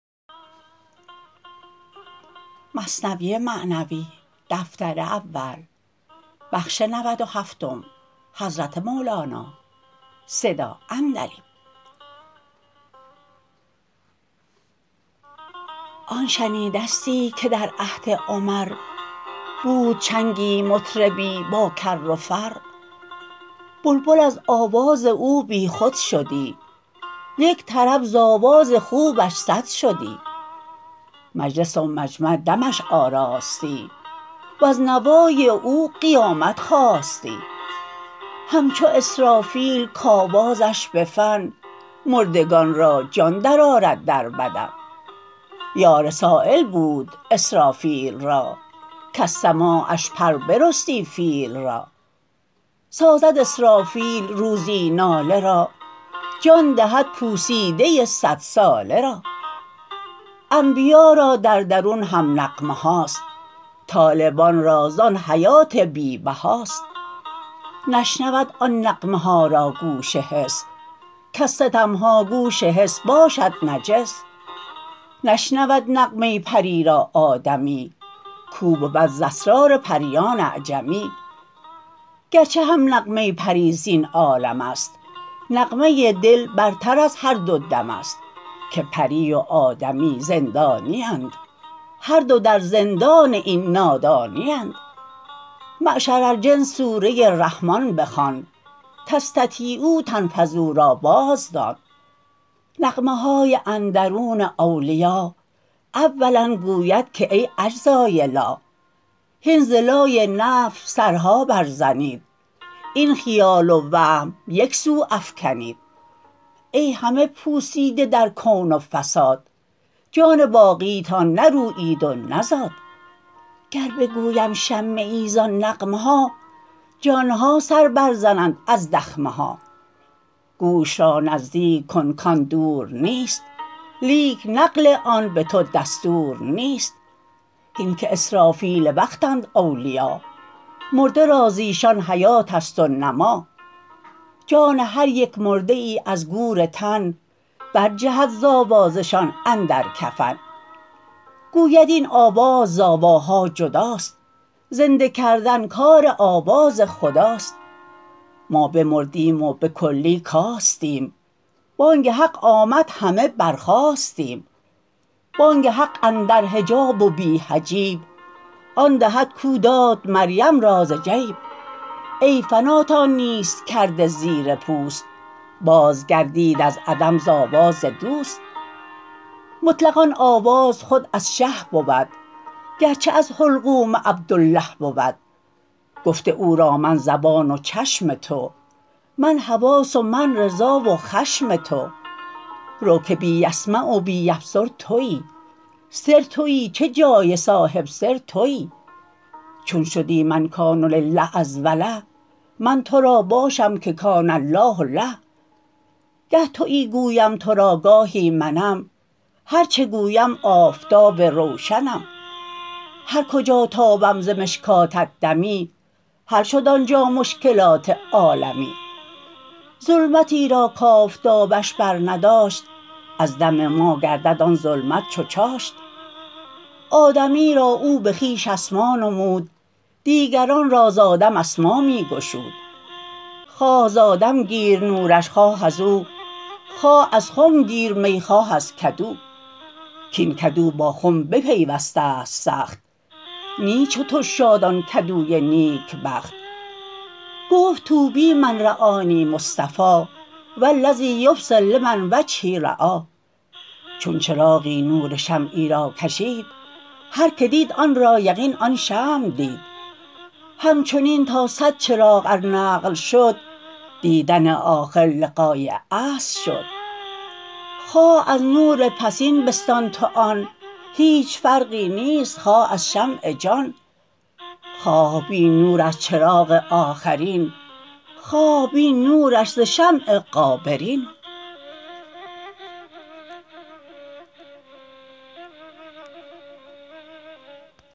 آن شنیدستی که در عهد عمر بود چنگی مطربی با کر و فر بلبل از آواز او بی خود شدی یک طرب ز آواز خوبش صد شدی مجلس و مجمع دمش آراستی وز نوای او قیامت خاستی همچو اسرافیل کآوازش بفن مردگان را جان در آرد در بدن یا رسیلی بود اسرافیل را کز سماعش پر برستی فیل را سازد اسرافیل روزی ناله را جان دهد پوسیده صدساله را انبیا را در درون هم نغمه هاست طالبان را زان حیات بی بهاست نشنود آن نغمه ها را گوش حس کز ستمها گوش حس باشد نجس نشنود نغمه پری را آدمی کو بود ز اسرار پریان اعجمی گرچه هم نغمه پری زین عالمست نغمه دل برتر از هر دو دمست که پری و آدمی زندانیند هر دو در زندان این نادانیند معشر الجن سوره رحمان بخوان تستطیعوا تنفذوا را باز دان نغمه های اندرون اولیا اولا گوید که ای اجزای لا هین ز لای نفی سرها بر زنید این خیال و وهم یکسو افکنید ای همه پوسیده در کون و فساد جان باقیتان نرویید و نزاد گر بگویم شمه ای زان نغمه ها جانها سر بر زنند از دخمه ها گوش را نزدیک کن کان دور نیست لیک نقل آن به تو دستور نیست هین که اسرافیل وقتند اولیا مرده را زیشان حیاتست و نما جان هر یک مرده ای از گور تن برجهد ز آوازشان اندر کفن گوید این آواز ز آواها جداست زنده کردن کار آواز خداست ما بمردیم و بکلی کاستیم بانگ حق آمد همه بر خاستیم بانگ حق اندر حجاب و بی حجاب آن دهد کو داد مریم را ز جیب ای فناتان نیست کرده زیر پوست باز گردید از عدم ز آواز دوست مطلق آن آواز خود از شه بود گرچه از حلقوم عبدالله بود گفته او را من زبان و چشم تو من حواس و من رضا و خشم تو رو که بی یسمع و بی یبصر توی سر توی چه جای صاحب سر توی چون شدی من کان لله از وله من ترا باشم که کان الله له گه توی گویم ترا گاهی منم هر چه گویم آفتاب روشنم هر کجا تابم ز مشکات دمی حل شد آنجا مشکلات عالمی ظلمتی را کآفتابش بر نداشت از دم ما گردد آن ظلمت چو چاشت آدمی را او بخویش اسما نمود دیگران را ز آدم اسما می گشود خواه ز آدم گیر نورش خواه ازو خواه از خم گیر می خواه از کدو کین کدو با خنب پیوستست سخت نی چو تو شاد آن کدوی نیکبخت گفت طوبی من رآنی مصطفی والذی یبصر لمن وجهی رای چون چراغی نور شمعی را کشید هر که دید آن را یقین آن شمع دید همچنین تا صد چراغ ار نقل شد دیدن آخر لقای اصل شد خواه از نور پسین بستان تو آن هیچ فرقی نیست خواه از شمع جان خواه بین نور از چراغ آخرین خواه بین نورش ز شمع غابرین